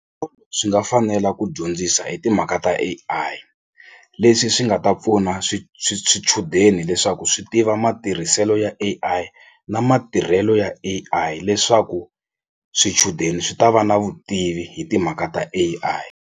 Swi nga fanela ku dyondzisa hi timhaka ta A_I leswi swi nga ta pfuna swichudeni leswaku swi tiva matirhiselo ya A_I na matirhelo ya A_I leswaku swichudeni swi ta va na vutivi hi timhaka ta A_I.